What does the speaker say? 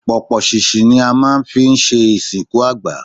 Pọ̀pọ̀ ṣìnṣìn ni a máa ń fi ń ṣe ìsìnkú àgbà.